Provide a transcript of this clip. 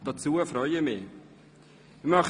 Darauf freue ich mich ebenfalls.